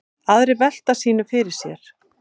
Aðrir velta sínu fyrir sér.